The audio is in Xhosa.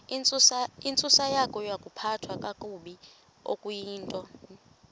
intsusayokuphathwa kakabi okuyintoni